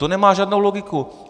To nemá žádnou logiku!